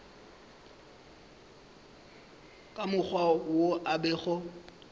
ka mokgwa wo a bego